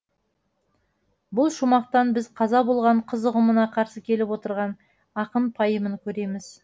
бұл шумақтан біз қаза болған қыз ұғымына қарсы келіп отырған ақын пайымын көреміз